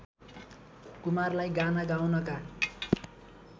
कुमारलाई गाना गाउनका